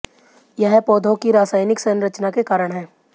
यह पौधों की रासायनिक संरचना के कारण है